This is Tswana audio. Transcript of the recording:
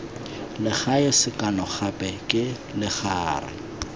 legae sekano gape ke legare